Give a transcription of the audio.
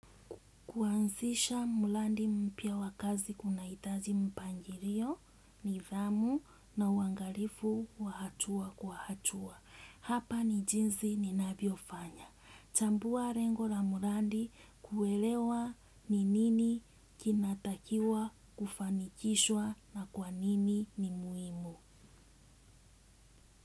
Kuanzisha mulandi mpya wakazi kuna itaji mpangirio, nidhamu na uwangarifu wa hatua kwa hatua. Hapa ni jinsi ninavyofanya. Chambua rengo la mulandi kuwelewa ni nini kinatakiwa kufanikishwa na kwa nini ni muimu.